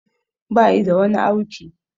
Bayi da wani auki